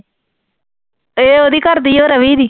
ਇਹ ਉਹਦੀ ਘਰ ਦੀ ਆ ਰਵੀ ਦੀ।